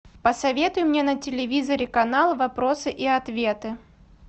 посоветуй мне на телевизоре канал вопросы и ответы